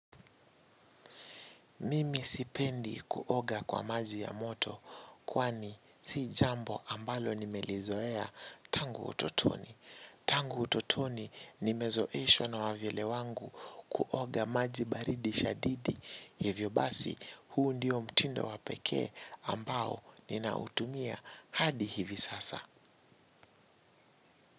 Mimi sipendi kuoga kwa maji ya moto kwani si jambo ambalo nimelizoea tangu utotoni. Tangu utotoni nimezoeshwa na wavyele wangu kuoga maji baridi shadidi hivyo basi huu ndiyo mtindo wapekee ambao ninautumia hadi hivi sasa.